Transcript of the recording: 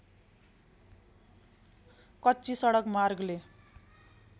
कच्ची सडक मार्गले